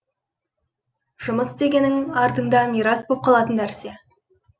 жұмыс дегенің артында мирас болып қалатын нәрсе